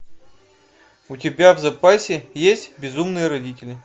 у тебя в запасе есть безумные родители